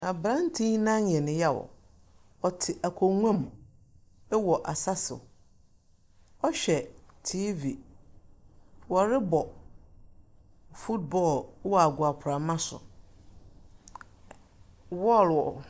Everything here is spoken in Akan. Aberanteɛ yi nan yɛ no yaw. Ɔte akoguam ɛwɔ asaso. Ɔhwɛ tiivi wɔrebɔ futbɔl ɛwɔ agoroprama so.